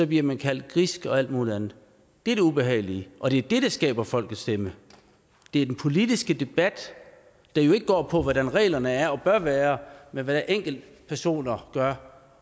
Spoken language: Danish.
bliver man kaldt grisk og alt mulig andet det er det ubehagelige og det er det der skaber folkets stemme det er den politiske debat der jo ikke går på hvordan reglerne er og bør være men hvad enkeltpersoner gør